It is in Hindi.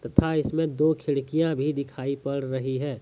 तथा इसमें दो खिड़कियां भी दिखाई पड़ रही हैं।